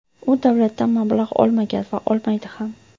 U davlatdan mablag‘ olmagan va olmaydi ham.